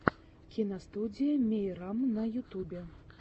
киностудия мейрам на ютубе